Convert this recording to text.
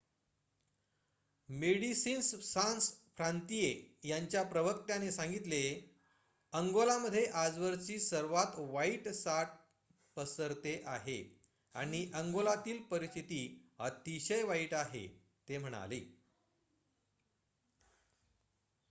"Médecins Sans Frontieres यांच्या प्रवक्त्याने सांगितलेः "अंगोलामध्ये आजवरची सर्वात वाईट साथ पसरते आहे आणि अंगोलातील परिस्थिती अतिशय वाईट आहे," ते म्हणाले.